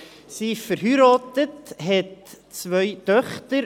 Sie ist verheiratet und hat zwei Töchter.